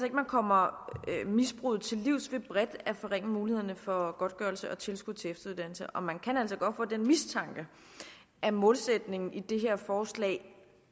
at man kommer misbruget til livs ved bredt at forringe mulighederne for godtgørelse og tilskud til efteruddannelse og man kan altså godt få den mistanke at målsætningen i det her forslag